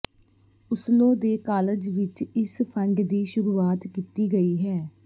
Oslo ਦੇ college ਵਿੱਚ ਇਸ ਫੰਡ ਦੀ ਸ਼ੁਰੂਆਤ ਕੀਤੀ ਗਈ ਹੈ